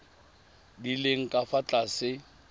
di leng ka fa tlase